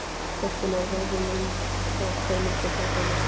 Stelpurnar veðjuðu um það hver myndi gapa mest.